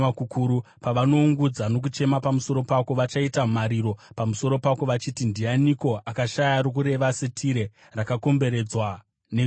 Pavanoungudza nokuchema pamusoro pako, vachachema pamusoro pako vachiti, “Ndianiko akashaya rokureva seTire, rakakomberedzwa negungwa?”